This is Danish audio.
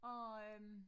Og øh